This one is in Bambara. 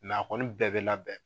a kɔni bɛɛ bɛ labɛn.